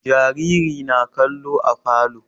Jaririn na kallo a falo